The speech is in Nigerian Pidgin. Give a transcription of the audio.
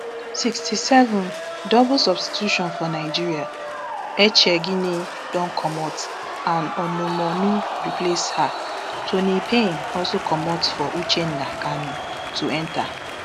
sixty-seven double substitution for nigeria echegini don comot and onumonu replace her toni payne also comot for uchenna kanu to enta